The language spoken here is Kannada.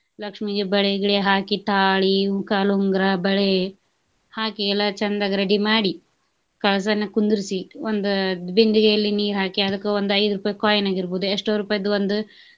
ಲಕ್ಷ್ಮೀಗೆ ಬಳೆ ಗಿಳೆ ಹಾಕಿ, ತಾಳಿ, ಕಾಲುಂಗುರ, ಬಳೆ ಹಾಕಿ ಎಲ್ಲ ಚಂದಗೆ ready ಮಾಡಿ ಕಳಸ ನ ಕುಂದರ್ಸಿ ಒಂದ ಬಿಂದಿಗೆಯಲ್ಲಿ ನೀರ ಹಾಕಿ ಅದಕ್ಕ ಒಂದ ಐದ ರೂಪಾಯಿ coin ಆಗಿರ್ಬಹುದು ಎಷ್ಟೋ ರೂಪಾಯಿದ್ ಒಂದು.